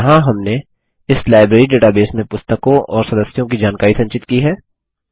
यहाँ हमने इस लाइब्रेरी डेटाबेस में पुस्तकों और सदस्यों की जानकारी संचित की है